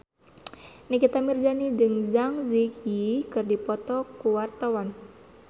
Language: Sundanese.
Nikita Willy jeung Zang Zi Yi keur dipoto ku wartawan